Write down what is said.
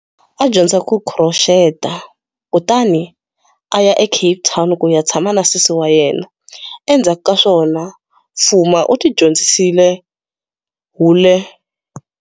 A dyondza ku khuroxeta, kutani a ya eCape Town ku ya tshama na sesi wa yena. Endzhaku ka swona Fuma u tidyondzisile hule.